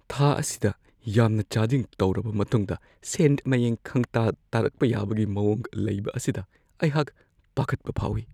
ꯊꯥ ꯑꯁꯤꯗ ꯌꯥꯝꯅ ꯆꯥꯗꯤꯡ ꯇꯧꯔꯕ ꯃꯇꯨꯡꯗ ꯁꯦꯟ ꯃꯌꯦꯡ ꯈꯪꯇꯥ ꯇꯥꯔꯛꯄ ꯌꯥꯕꯒꯤ ꯃꯋꯣꯡ ꯂꯩꯕ ꯑꯁꯤꯗ ꯑꯩꯍꯥꯛ ꯄꯥꯈꯠꯄ ꯐꯥꯎꯋꯤ ꯫